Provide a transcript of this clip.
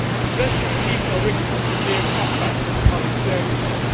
especially as people are witnessing severe cutbacks in public services.